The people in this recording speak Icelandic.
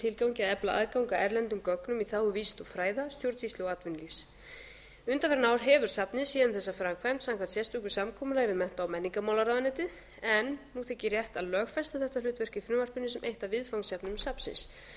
tilgangi að efla aðgang að erlendum gögnum í þágu vísinda og fræða stjórnsýslu og atvinnulífs undanfarin ár hefur safnið séð um þessa framkvæmd samkvæmt sérstöku samkomulagi við mennta og menningarmálaráðuneytið en nú þykir rétt að lögfesta þetta hlutverk í frumvarpinu sem eitt af viðfangsefnum safnsins